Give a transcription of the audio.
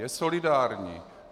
Je solidární.